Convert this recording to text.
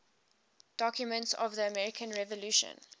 documents of the american revolution